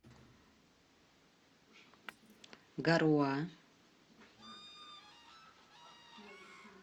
гаруа